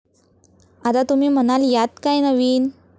आता तुम्ही म्हणाल यात काय नवीन.